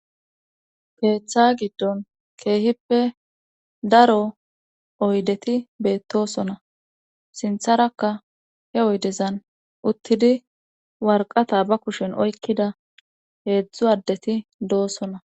keeththa giddon keehippe daro oydeti beettosona sintharakka he oydezan uttidi warqata ba kushen oykkida heedzdzu addeti doosona